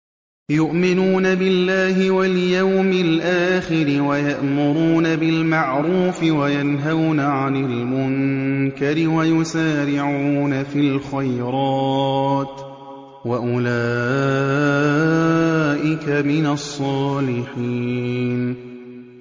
يُؤْمِنُونَ بِاللَّهِ وَالْيَوْمِ الْآخِرِ وَيَأْمُرُونَ بِالْمَعْرُوفِ وَيَنْهَوْنَ عَنِ الْمُنكَرِ وَيُسَارِعُونَ فِي الْخَيْرَاتِ وَأُولَٰئِكَ مِنَ الصَّالِحِينَ